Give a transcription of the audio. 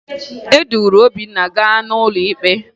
E duru Obinna gaa n'ụlọ ikpe